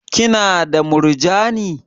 Ki na da murjani?